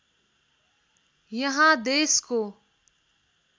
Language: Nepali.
यहाँ देशको